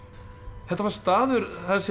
þetta var staður þar sem